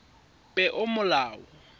peomolao